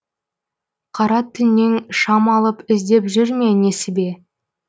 қара түннен шам алып іздеп жүр ме несібе